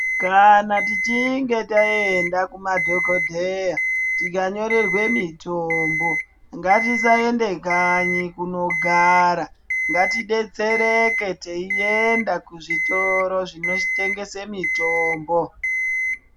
Kana tichinge taenda kumadhokodheya tikanyorerwe mitombo ngatisaende kanyi kunogara ngatidetsereke teienda kuzvitoro zvinotengese mitombo.